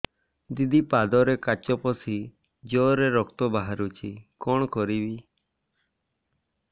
ଦିଦି ପାଦରେ କାଚ ପଶି ଜୋରରେ ରକ୍ତ ବାହାରୁଛି କଣ କରିଵି